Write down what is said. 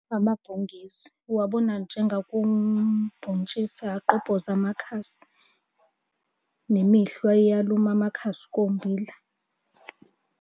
Amabhungezi, uwabona njengakubhontshisi agqobhoze amakhasi. Nemihlwa iyaluma amakhasi kommbila.